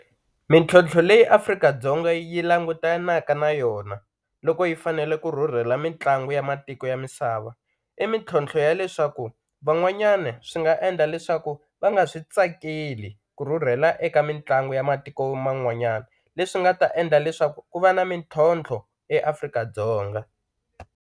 Mintlhontlho leyi Afrika-Dzonga yi langutanaka na yona loko yi fanele ku rhurhela mitlangu ya matiko ya misava i mintlhontlho ya leswaku van'wanyani swi nga endla leswaku va nga swi tsakeli ku rhurhela eka mitlangu ya matiko man'wanyana leswi nga ta endla leswaku ku va na mintlhontlho eAfrika-Dzonga.